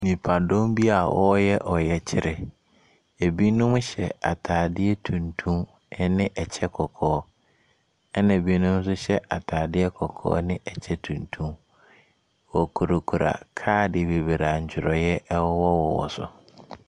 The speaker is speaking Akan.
Nnipadɔm bi a wɔreyɛ ɔyɛkyerɛ. Binom hyɛ atadeɛ tuntum ne kyɛ kɔkɔɔ, ɛnna binom nso hyɛ atadeɛ kɔkɔɔ ne kyɛ tuntum. Wɔkurakura kaade bebree a ntwerɛeɛ wowɔwowɔ so.